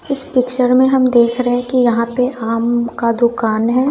इस पिक्चर में हम देख रहे हैं कि यहां पे आम का दुकान है।